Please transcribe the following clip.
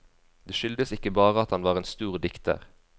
Det skyldes ikke bare at han var en stor dikter.